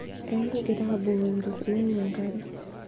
ekigira aabukoki ilnyanya enkare